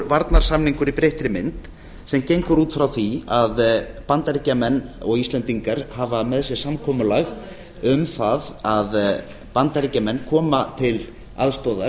varnarsamningur í breyttri mynd sem gengur út frá því að bandaríkjamenn og íslendingar hafa með sér samkomulag um það að bandaríkjamenn koma til aðstoðar